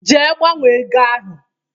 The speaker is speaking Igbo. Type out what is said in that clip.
Jee gbanwe ego ahụ!